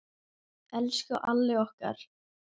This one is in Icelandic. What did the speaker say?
Elsku Alli okkar.